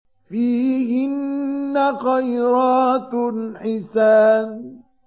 فِيهِنَّ خَيْرَاتٌ حِسَانٌ